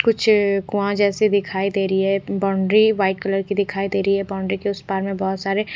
कुछ कुआं जैसी दिखाई दे रही है बाउंड्री व्हाइट कलर की दिखाई दे रही है बाउंड्री के उस पार में बहोत सारे--